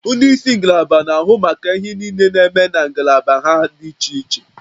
Ndị isi ngalaba na-ahụ maka ihe niile na-eme na ngalaba ha dị iche iche